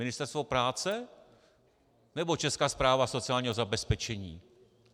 Ministerstvo práce, nebo Česká správa sociálního zabezpečení?